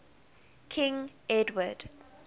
king edward